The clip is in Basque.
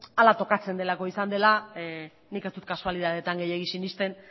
hala tokatzen delako izan dela nik ez dut kasualitateetan gehiegi sinesten